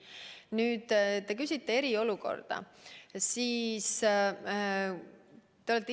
Nüüd, te küsisite eriolukorra kohta.